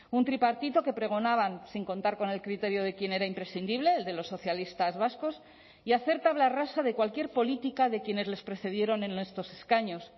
un tripartito que pregonaban sin contar con el criterio de quien era imprescindible el de los socialistas vascos y hacer tabla rasa de cualquier política de quienes les precedieron en estos escaños